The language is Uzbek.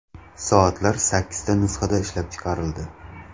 Soatlar sakkizta nusxada ishlab chiqarildi.